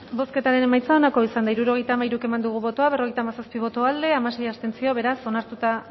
bozketaren emaitza onako izan da hirurogeita hamairu eman dugu bozka berrogeita hamazazpi boto aldekoa hamasei abstentzio beraz onartuta